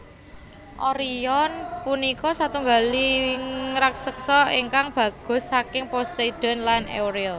Orion punika satunggaling raksesa ingkang bagus saking Poseidon lan Euriale